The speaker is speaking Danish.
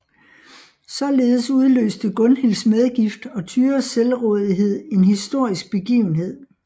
Således udløste Gunhilds medgift og Tyras selvrådighed en historisk begivenhed